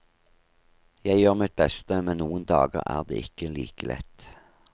Jeg gjør mitt beste, men noen dager er det ikke like lett.